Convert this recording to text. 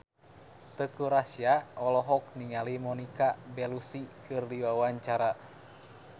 Teuku Rassya olohok ningali Monica Belluci keur diwawancara